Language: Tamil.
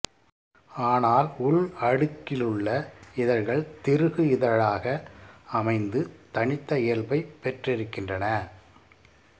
ஆனால் உள்அடுக்கிலுள்ள இதழ்கள் திருகு இதழாக அமைந்து தனித்த இயல்பைப் பெற்றிருக்கின்றன